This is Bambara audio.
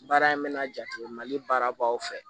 Baara in mɛna jate mali baara b'aw fɛ